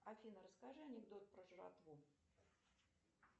афина расскажи анекдот про жратву